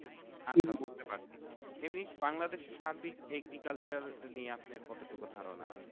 আচ্ছা বুঝতে পারছি এমনি বাংলাদেশের সার্বিক agriculture নিয়ে আপনার কতটুকু ধারণা?